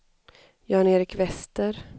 Jan-Erik Wester